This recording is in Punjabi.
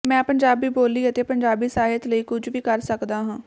ਮੈਂ ਪੰਜਾਬੀ ਬੋਲੀ ਅਤੇ ਪੰਜਾਬੀ ਸਾਹਿਤ ਲਈ ਕੁਝ ਵੀ ਕਰ ਸਕਦਾ ਹਾਂ